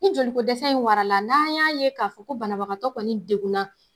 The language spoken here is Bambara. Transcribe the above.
Ni joli ko dɛsɛ in warala n'an y'a ye k'a fɔ ko banabagatɔ kɔni degunna